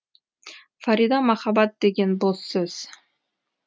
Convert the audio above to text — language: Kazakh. фарида махаббат деген бос сөз